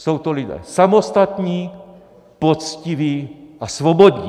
Jsou to lidé samostatní, poctiví a svobodní.